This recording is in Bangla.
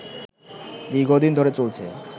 দীর্ঘদিন ধরে চলছে